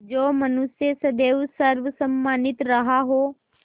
जो मनुष्य सदैव सर्वसम्मानित रहा हो